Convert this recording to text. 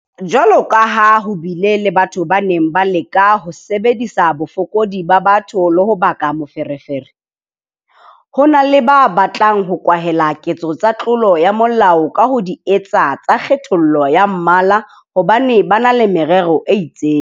Jwalo ka ha ho bile le batho ba neng ba leka ho sebedisa bofokodi ba batho le ho baka meferefere. Ho na le ba batlang ho kwahela ketso tsa tlolo ya molao ka ho di etsa tsa kgethollo ya mmala hobane ba na le merero e itseng.